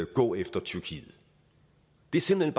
gå efter tyrkiet det er simpelt